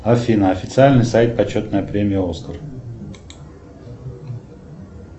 афина официальный сайт почетная премия оскар